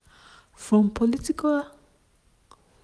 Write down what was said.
from political conspiracies di successes and di failures dia fights and settlements.